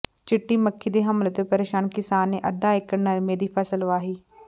ਚਿੱਟੀ ਮੱਖੀ ਦੇ ਹਮਲੇ ਤੋਂ ਪ੍ਰੇਸ਼ਾਨ ਕਿਸਾਨ ਨੇ ਅੱਧਾ ਏਕੜ ਨਰਮੇ ਦੀ ਫ਼ਸਲ ਵਾਹੀ